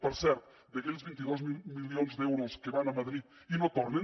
per cert d’aquells vint dos mil milions d’euros que van a madrid i no tornen